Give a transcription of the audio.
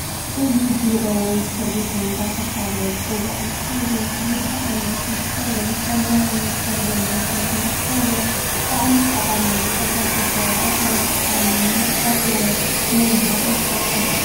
እዚ ቢሮ ወይ እስኪርቢቶ እዳተባሃለ ዝፂዋዕ እንትከውን ክልተ ዓይነት እንትከውን ሰማያዊን ፀሊም ሕብሪ እንትከውን ብጣዓሚ ጠቃሚ ንሕ/ሰብ አድላይ ዝኮነ ንመፀሕፊ ወይ ንመምህሪ ይጠቅም።